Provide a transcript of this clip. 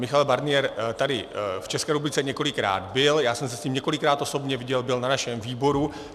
Michel Barnier tady v České republice několikrát byl, já jsem se s ním několikrát osobně viděl, byl na našem výboru.